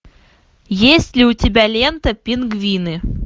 есть ли у тебя лента пингвины